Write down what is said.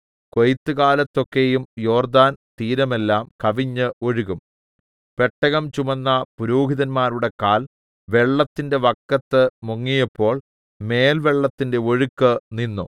കൊയ്ത്തുകാലത്തൊക്കെയും യോർദ്ദാൻ തീരമെല്ലാം കവിഞ്ഞ് ഒഴുകും പെട്ടകം ചുമന്ന പുരോഹിതന്മാരുടെ കാൽ വെള്ളത്തിന്റെ വക്കത്ത് മുങ്ങിയപ്പോൾ മേൽ വെള്ളത്തിന്റെ ഒഴുക്ക് നിന്നു